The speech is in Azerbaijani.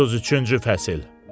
33-cü fəsil.